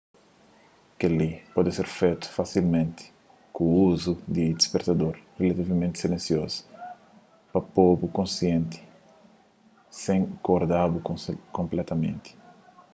kel-li poder ser fetu fasilmenti ku uzu di un dispertador rilativamenti silensiozu pa po-bu konsienti sen korda-bu konpletamenti